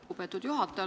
Lugupeetud juhataja!